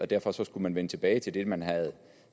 derfor skulle vende tilbage til det man havde